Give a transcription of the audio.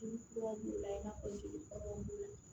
i n'a fɔ sili